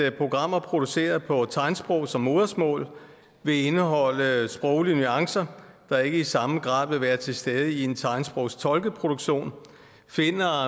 at programmer produceret på tegnsprog som modersmål vil indeholde sproglige nuancer der ikke i samme grad vil være til stede i en tegnsprogstolket produktion finder